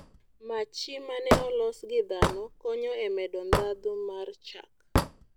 Machi ma ne olos gi dhano konyo e medo ndhadhu mar chak